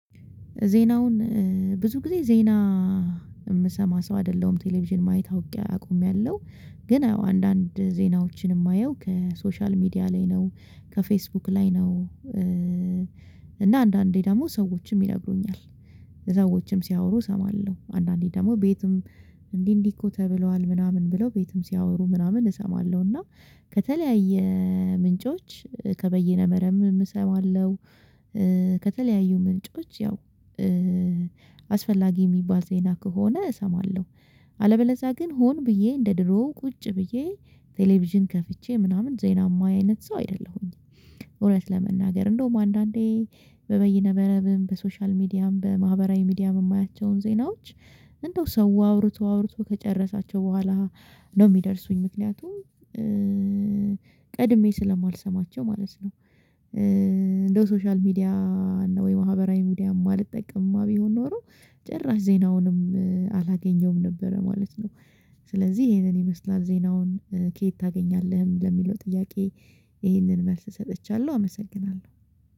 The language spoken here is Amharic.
ዜናውን ብዙ ጊዜ ዜና የምሰማ ሰው አይደለሁም ቴሌቪዥን ማየት አውቄ አቆሚያለሁ። ግን አዎ አንዳንድ ዜናዎችን የማየው ከሶሻል ሚዲያ ላይ ነው ከፌስቡክ ላይ ነው። እና አንዳንዴ ደግሞ ሰዎችም ይነግሩኛል ሰዎችም ሲያወሩ እሰማለሁ አንዳንዴ ደግሞ ቤትም እንዲህ እንዲህ እኮ ተብሏል ምናምን ብለው ቤትም ሲያወሩ ምናምን እሰማለሁ እና ከተለያየ ምንጮች ከበይነ መረብም እሰማለሁ። ከተለያዩ ምንጮች ያው አስፈላጊ የሚባል ዜና ከሆነ እሰማለሁ። አለበለዛ ግን ሆን ብዬ እንደ ድሮ ቁጭ ብዬ ቴሌቪዥን ከፍቼ ምናምን ዜና የማይ አይነት ሰው አይደለሁም። እውነት ለመናገር እንደውም አንዳንዴ በበይነመረብም በሶሻል ሚዲያም በማህበራዊ ሚዲያም የማያቸውን ዜናዎች እንደው ሰው አውርቶ አውርቶ ከጨረሳቸው በኋላ ነው የሚደርሱኝ ምክንያቱም ቀድሜ ስለማልሰማቸው ማለት ነው። እንደው ሶሻል ሚዲያ ወይ ማህበራዊ ሚዲያ የማልጠቀምማ ቢሆን ኖሮ ጭራሽ ዜናውንም አላገኘውም ነበረ ማለት ነው። ስለዚህ ይሄንን ይመስላል ዜናውን ከየት ታገኛለህ ለሚለው ጥያቄ? ይህንን መልስ ሰጥቻለሁ አመሰግናለሁ